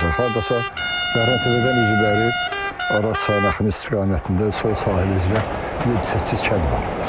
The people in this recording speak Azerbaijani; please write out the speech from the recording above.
Hardasa Bəhrəmtəpədən üzü bəri Araz çayı axını istiqamətində sol sahili üzrə yeddi-səkkiz kənd var.